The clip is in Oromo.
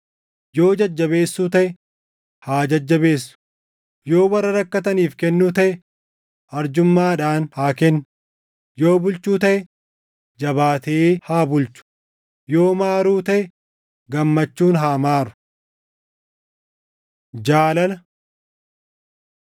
yoo jajjabeessuu taʼe, haa jajjabeessu; yoo warra rakkataniif kennuu taʼe, arjummaadhaan haa kennu; yoo bulchuu taʼe, jabaatee haa bulchu; yoo maaruu taʼe, gammachuun haa maaru. Jaalala